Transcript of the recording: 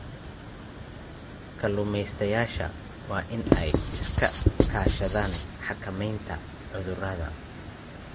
Kalumestayasha waa in ay iska kaashadaan xakameynta cudurrada.